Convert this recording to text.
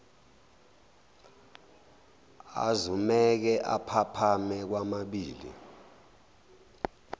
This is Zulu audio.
azumeke aphaphame kwamabili